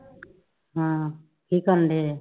ਹਾਂ ਕਿ ਕਰੰਦੇ ਐ